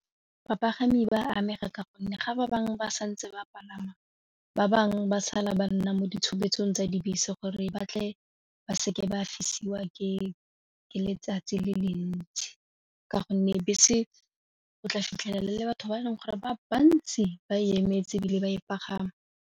Bapagami ba amega ka gonne ga ba bangwe ba santse ba palama ba bangwe ba sala ba nna mo ditshupetsong tsa dibese gore batle ba seke ba fisiwa ke letsatsi le le ntsi ka gonne bese go tla fitlhela le le batho ba e leng gore ba bantsi ba emetse ebile ba e pagama.